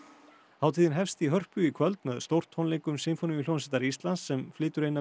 hátíðin hefst í Hörpu í kvöld með stórtónleikum Sinfóníuhljómsveitar Íslands sem flytur eina